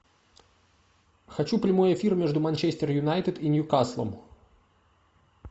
хочу прямой эфир между манчестер юнайтед и ньюкаслом